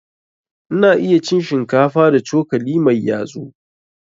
Ina iya cin shinkafa da cokali mai yatsu.